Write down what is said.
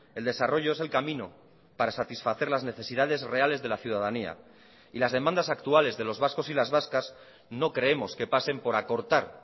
el desarrollo es el camino para satisfacer las necesidades reales de la ciudadanía y las demandas actuales de los vascos y las vascas no creemos que pasen por acortar